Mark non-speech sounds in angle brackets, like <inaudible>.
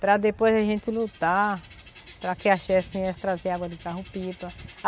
Para depois a gente lutar, para que a <unintelligible> viesse trazer água de carro-pipa.